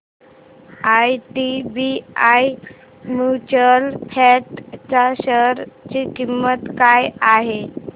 IDBI mutual fund च्या share ची किंमत काय आहे